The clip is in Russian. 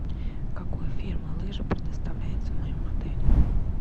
какой фирмы лыжи предоставляются в моем отеле